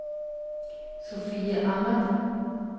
Sophie Ahmad